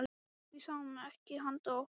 Við sáum ekki handa okkar skil.